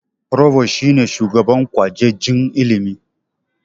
Provost shi ne shugaban kwajejin ilimi.